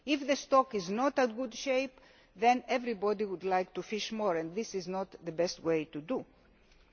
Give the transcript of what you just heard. If the stock is not in good shape, then everybody will want to fish more and this is not the best way to